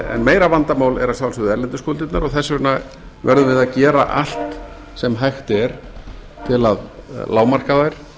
en meira vandamál er að sjálfsögðu erlendu skuldirnar og þess vegna verðum við að gera allt sem hægt er til að lágmarka þær og til